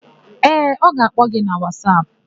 Ee, ọ ga-akpọ gi na Wasapụ.